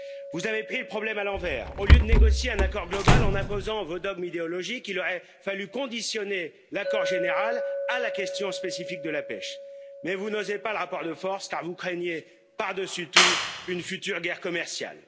Vous avez pris le problème à l'envers, au lieu de négocier un accord global en imposant vos dogmes idéologiques, il aurait fallu conditionner l'accord général à la question spécifique de la pêche, mais vous n'osez pas le rapport de force car vous craignez par dessus tout une future guerre commerciale.